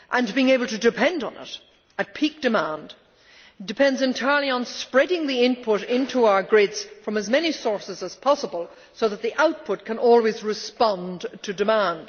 Being able to rely on it at peak demand depends entirely on spreading the input into our grids from as many sources as possible so that the output can always respond to demand.